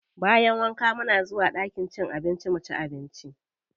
Bayan wanka muna zuwa ɗakin cin abinci muci abinci.